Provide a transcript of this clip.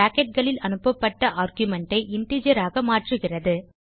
bracketகளில் அனுப்பப்பட்ட ஆர்குமென்ட் ஐ இன்டிஜர் ஆக மாற்றுகிறது